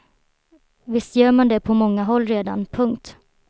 Visst gör man det på många håll redan. punkt